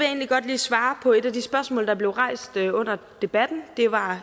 egentlig godt lige svare på et af de spørgsmål der blev rejst under debatten det var